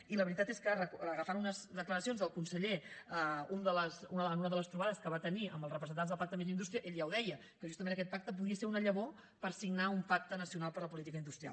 i la veritat és que agafant unes declaracions del conseller en una de les trobades que va tenir amb els representants del pacte més indústria ell ja ho deia que justament aquest pacte podia ser una llavor per signar un pacte nacional per la política industrial